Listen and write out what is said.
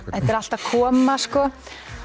þetta er allt að koma sko